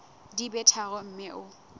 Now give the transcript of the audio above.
di be tharo mme o